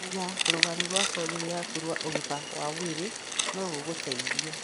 Kũmenya rũgano rwa famĩlĩ yaku rwa ũgima wa mwĩrĩ no gũgũteithie.